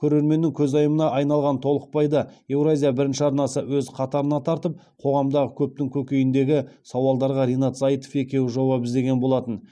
көрерменнің көзайымына айналған толықбайды еуразия бірінші арнасы өз қатарына тартып қоғамдағы көптің көкейіндегі сауалдарға ринат зайытов екеуі жауап іздеген болатын